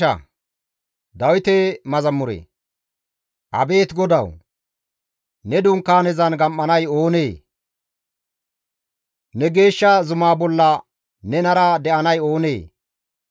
Abeet GODAWU! Ne Dunkaanezan gam7anay oonee? Ne geeshsha zumaa bolla nenara de7anay oonee?